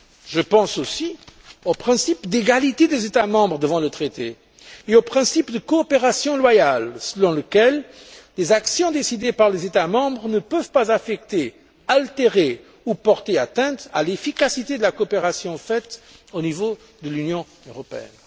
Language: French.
Je pense aussi au principe d'égalité des États membres devant le traité et au principe de coopération loyale selon lequel les actions décidées par les États membres ne peuvent pas affecter, altérer ou porter atteinte à l'efficacité de la coopération faite au niveau de l'Union européenne.